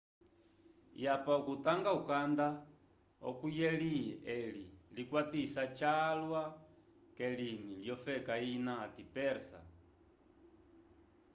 yapa vokutangya ukanda ohu yeli eli likwatisa jalwa kelimi lyofeka ina ati persa